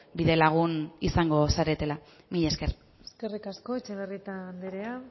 bidelagun izango zaretela mila esker eskerrik asko etxebarrieta anderea